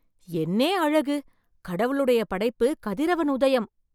என்னே அழகு! கடவுளுடைய படைப்பு கதிரவன் உதயம்